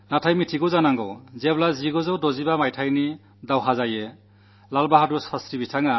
എന്നാൽ 1965 ലെ യുദ്ധം നടക്കുമ്പോൾ നമുക്കു നേതൃത്വം നല്കിയിരുന്നത് ലാൽ ബഹാദുർ ശാസ്ത്രിയായിരുന്നു